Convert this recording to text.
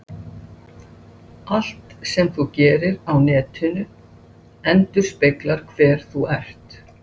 Í dag bárust svör frá einum dómara okkar vegna tveggja fyrirspurna.